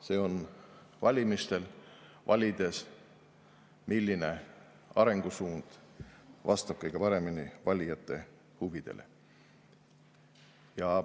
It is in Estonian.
See on valimistel, valides, milline arengusuund vastab kõige paremini valijate huvidele.